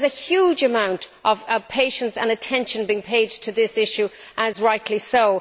A huge amount of patience and attention is being paid to this issue, and rightly so.